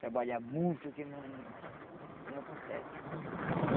Trabalhar muito que não que não consegue.